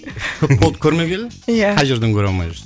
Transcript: көп болды көрмегелі иә қай жерден көре алмай жүрсің